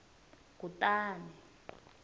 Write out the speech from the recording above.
kutani